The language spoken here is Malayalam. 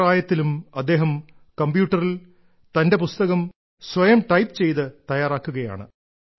ഈ പ്രായത്തിലും അദ്ദേഹം കമ്പ്യൂട്ടറിൽ തന്റെ പുസ്തകം സ്വയം ടൈപ്പ് ചെയ്ത് തയ്യാറാക്കുകയാണ്